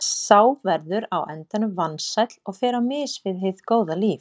Sá verður á endanum vansæll og fer á mis við hið góða líf.